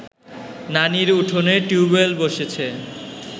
নানির উঠোনে টিউবয়েল বসেছে